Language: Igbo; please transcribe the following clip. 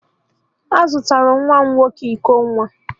A zụtara nwa m nwoke iko nwa